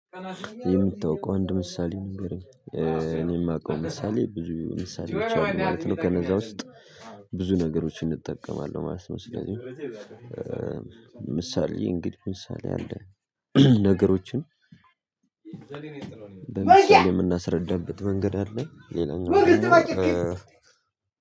የምታውቀው አንድ ምሳሌ ንገረኝ? እኔ የማውቀው ምሳሌ ብዙ ምሳሌዎችን ነው ማለት ነው። ከነዛ ውስጥ ብዙ ነገሮችን እጠቀማለሁ ማለት ነው። ስለዚህ ምሳሌ እንግዲህ ምሳሌ አለ። ነገሮችን የምናስረዳበት መንገድ አለ። ሌላኛው ደግሞ